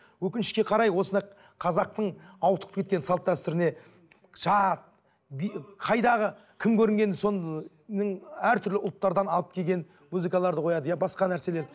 өкінішке қарай осындай қазақтың ауытқып кеткен салт дәстүріне жат би қайдағы кім көрінген соның әртүрлі ұлттардан алып келген музыкаларды қояды иә басқа нәрселерді